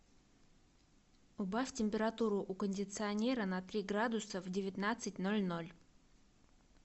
убавь температуру у кондиционера на три градуса в девятнадцать ноль ноль